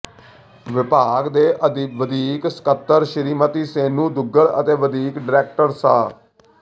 ਵਿਭਾਗ ਦੇ ਵਧੀਕ ਸਕੱਤਰ ਸ੍ਰੀਮਤੀ ਸੇਨੂੰ ਦੁੱਗਲ ਅਤੇ ਵਧੀਕ ਡਾਇਰੈਕਟਰ ਸ